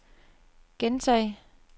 gentag